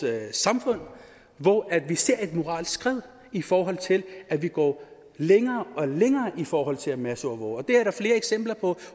samfund hvor vi ser et moralsk skred i forhold til at vi går længere og længere i forhold til at masseovervåge det er der flere eksempler på